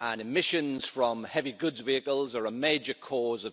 and emissions from heavy goods vehicles are a major cause of CO2 emissions.